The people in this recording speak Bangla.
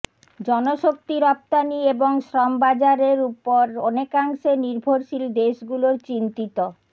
জনশক্তি রপ্তানি এবং শ্রমবাজারের ওপর অনেকাংশে নির্ভরশীল দেশগুলোর চিন্তিত